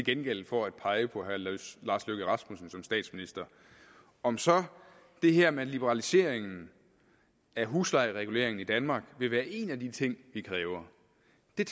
gengæld for at pege på herre lars løkke rasmussen som statsminister om så det her med liberalisering af huslejereguleringen i danmark vil være en af de ting vi kræver